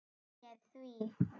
Ég heiti þér því.